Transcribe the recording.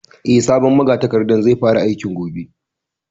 Eh, sabon magatakardan zai fara aiki gobe